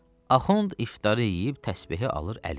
Axund iftarı yeyib təsbehi alır əlinə.